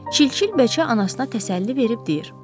Çilçil beçə anasına təsəlli verib deyir: